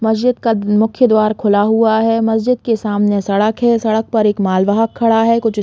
मस्जिद का मुख्य द्वार खुला हुआ है मस्जिद के सामने सड़क है सड़क पर एक माल वाहक खड़ा है कुछ स्कूटी --